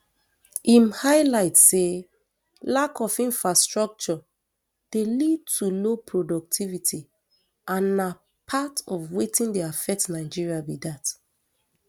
im highlight say lack of infrastructure dey lead to low productivity and na part of wetin dey affect nigeria be dat